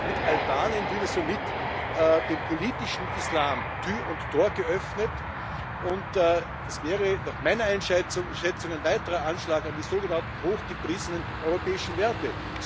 Mit Albanien würde somit dem politischen Islam Tür und Tor geöffnet, und das wäre nach meiner Einschätzung ein weiterer Anschlag auf die sogenannten hochgepriesenen europäischen Werte.